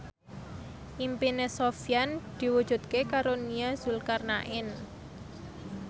impine Sofyan diwujudke karo Nia Zulkarnaen